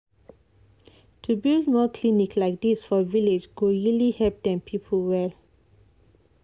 to build more clinic like this for village go really help dem people well.